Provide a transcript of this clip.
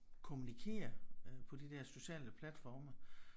Kommunikere øh på de der sociale platforme